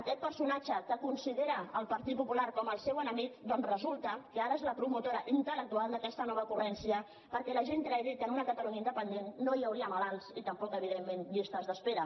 aquest personatge que considera el partit popular com el seu enemic doncs resulta que ara és la promotora intel·lectual d’aquesta nova ocurrència perquè la gent cregui que en una catalunya independent no hi hauria malalts i tampoc evidentment llistes d’espera